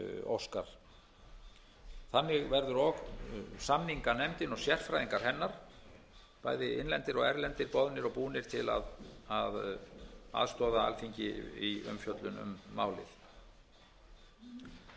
óskar þannig verður og samninganefndin og sérfræðingar hennar bæði innlendir og erlendir boðnir og búnir til að aðstoða alþingi í umfjöllun um málið